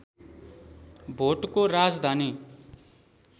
भोटको राजधानी